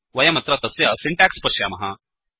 वयमत्र तस्य सिण्टेक्स् पश्यामः